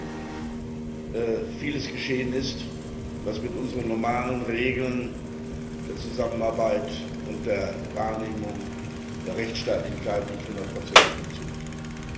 11. September vieles geschehen ist, was mit unseren normalen Regeln der Zusammenarbeit und der Wahrnehmung der Rechtsstaatlichkeit nicht hundertprozentig funktioniert hat.